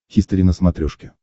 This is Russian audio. хистори на смотрешке